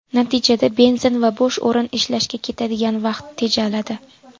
Natijada benzin va bo‘sh o‘rin izlashga ketadigan vaqt tejaladi.